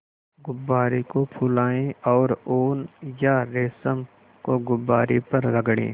गुब्बारे को फुलाएँ और ऊन या रेशम को गुब्बारे पर रगड़ें